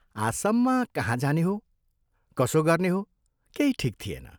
आसाममा कहाँ जाने हो, कसो गर्ने हो केही ठीक थिएन।